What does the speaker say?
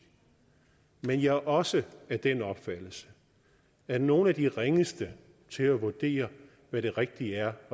men jeg er også af den opfattelse at nogle af de ringeste til at vurdere hvad det rigtige at